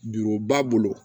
Juru ba bolo